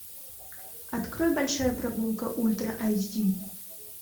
открой большая прогулка ультра айч ди